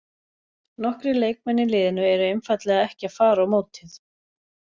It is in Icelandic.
Nokkrir leikmenn í liðinu eru einfaldlega ekki að fara á mótið.